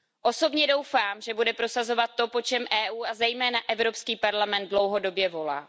Osobně doufám, že bude prosazovat to, po čem EU a zejména Evropský parlament dlouhodobě volá.